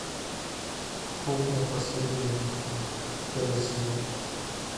кухня последняя битва первый сезон